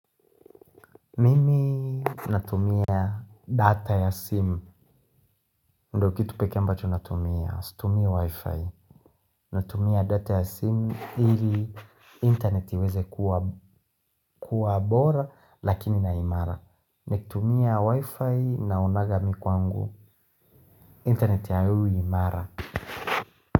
Mimi natumia data ya sim. Ndokitu peke ambacho natumia, situmia wifi. Natumia data ya sim hili interneti iweze kuwa bora lakini na imara. Natumia wifi na unagamii kwangu. Interneti ya ui imara.